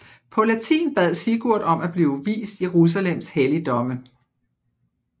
På latin bad Sigurd om at blive vist Jerusalems helligdomme